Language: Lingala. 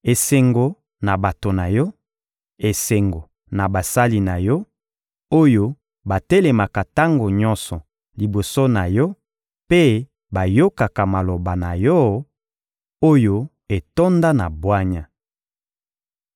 Esengo na bato na yo, esengo na basali na yo, oyo batelemaka tango nyonso liboso na yo mpe bayokaka maloba na yo, oyo etonda na bwanya!